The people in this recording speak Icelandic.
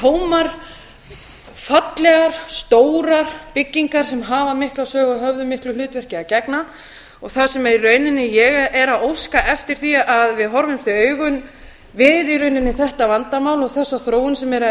tómar fallegar stórar byggingar sem hafa mikla sögu og höfðu miklu hlutverki að gegna og það sem í rauninni ég er að óska eftir er að við horfumst í augu við þetta vandamál og þessa þróun sem er að